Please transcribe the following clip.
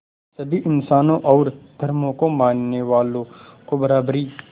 सभी इंसानों और धर्मों को मानने वालों को बराबरी